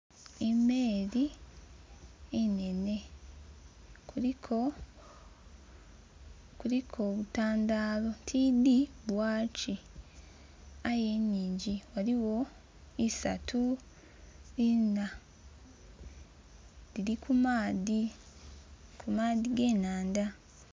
Emeri enhenhe kuliko obutandalo, tidhi bwaki aye inhingi. Ghaligho isatu inna dhili ku maadhi, ku maadhi ge nandha.